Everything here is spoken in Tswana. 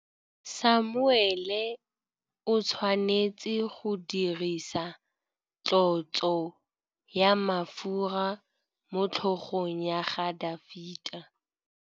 Samuele o tshwanetse go dirisa tlotsô ya mafura motlhôgong ya Dafita.